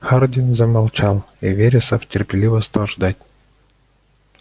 хардин замолчал и вересов терпеливо стал ждать